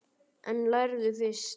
En lærðu fyrst.